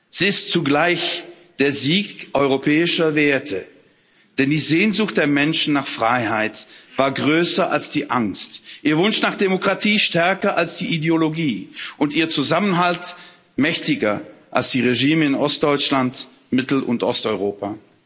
Sie ist zugleich der Sieg europäischer Werte, denn die Sehnsucht der Menschen nach Freiheit war größer als die Angst, ihr Wunsch nach Demokratie stärker als die Ideologie und ihr Zusammenhalt mächtiger als die Regime in Ostdeutschland, Mittel und Osteuropa.